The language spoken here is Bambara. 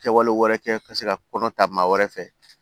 Kɛwale wɛrɛ kɛ ka se ka kɔnɔ ta maa wɛrɛ fɛ